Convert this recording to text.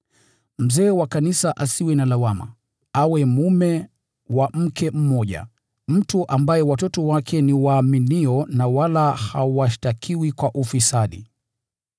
Mzee wa kanisa asiwe na lawama, awe mume wa mke mmoja, mtu ambaye watoto wake ni waaminio na wala hawashtakiwi kwa ufisadi.